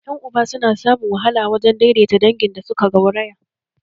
Yan uba su na samun wahala wajen daidaita wa da dangin da suka gauraya